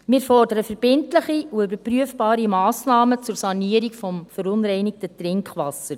Wir fordern verbindliche und überprüfbare Massnahmen zur Sanierung des verunreinigten Trinkwassers.